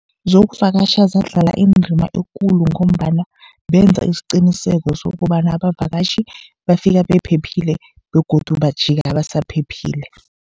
Zokuvakatjha zadlala indima ekulu, ngombana benza isiqiniseko sokobana abavakatjhi bafika bephephile begodu bajika basaphephile.